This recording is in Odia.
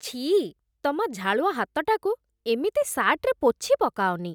ଛିଃ । ତମ ଝାଳୁଆ ହାତଟାକୁ ଏମିତି ସାର୍ଟରେ ପୋଛିପକାଅନି ।